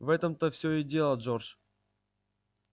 в этом-то всё и дело джордж